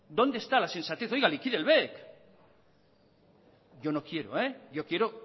dónde está la sensatez oiga liquide el bec yo no quiero eh yo quiero